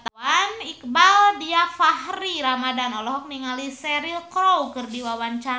Iqbaal Dhiafakhri Ramadhan olohok ningali Cheryl Crow keur diwawancara